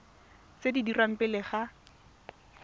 tse di dirwang pele ga